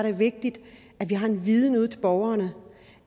er vigtigt at vi har en viden ud til borgerne